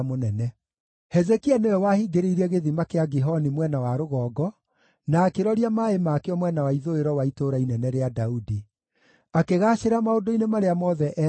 Hezekia nĩwe wahingĩrĩirie Gĩthima kĩa Gihoni mwena wa rũgongo, na akĩroria maaĩ makĩo mwena wa ithũĩro wa Itũũra Inene rĩa Daudi. Akĩgaacĩra maũndũ-inĩ marĩa mothe eekire.